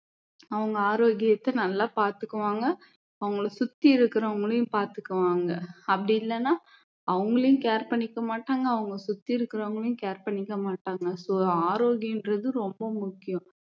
அவங்க ஆரோக்கியத்தை நல்லா பாத்துக்குவாங்க அவங்களை சுத்தி இருக்குறவங்கலையும் பாத்துக்குவாங்க அப்படி இல்லன்னா அவங்களையும் care பண்ணிக்க மாட்டாங்க அவங்க சுத்தி இருக்குறவங்களையும் care பண்ணிக்க மாட்டாங்க so ஆரோக்கியன்றது ரொம்ப முக்கியம்